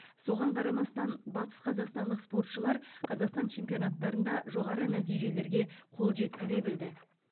соған қарамастан батысқазақстандық спортшылар қазақстан чемпионаттарында жоғары нәтижелерге қол жеткізе білді